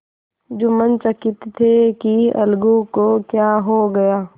जुम्मन चकित थे कि अलगू को क्या हो गया